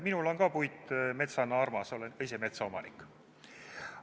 Minule on puit metsana armas, olen ka ise metsaomanik.